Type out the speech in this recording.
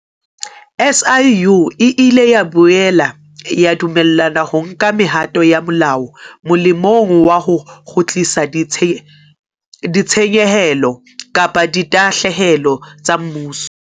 SIU e ile ya boela ya dumellwa ho nka mehato ya molao molemong wa ho kgutlisa ditshenyehelo kapa ditahlehelo tsa mmuso.